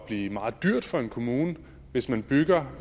blive meget dyrt for en kommune hvis man bygger